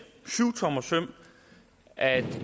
syvtommersøm at